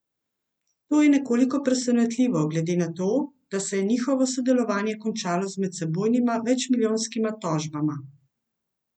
To je nekoliko presenetljivo glede na to, da se je njihovo sodelovanje končalo z medsebojnima večmilijonskima tožbama.